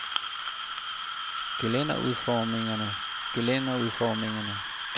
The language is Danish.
gelænderudformningerne gelænderudformningerne gelænderudformningerne